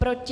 Proti?